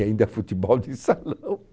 E ainda futebol de salão.